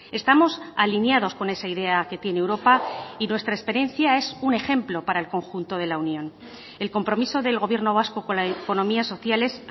estamos alineados con esa idea que tiene europa y nuestra experiencia es un ejemplo para el conjunto de la unión el compromiso del gobierno vasco con la economía social es